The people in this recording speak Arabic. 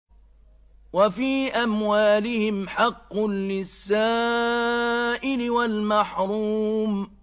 وَفِي أَمْوَالِهِمْ حَقٌّ لِّلسَّائِلِ وَالْمَحْرُومِ